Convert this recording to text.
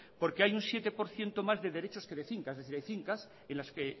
porque hay un siete por ciento más de derechos que de fincas es decir hay fincas en las que